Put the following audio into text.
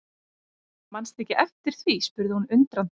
Mannstu ekki eftir því spurði hún undrandi.